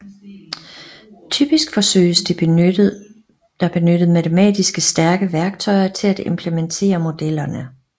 Typisk forsøges der benyttet matematiske stærke værktøjer til at implementere modellerne